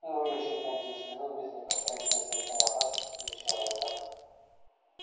ну и ещё пять-десять минут без непосредственной смертельной опасности для человека